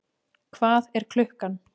Hvað er klukkan?